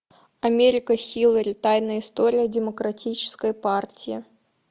америка хиллари тайная история демократической партии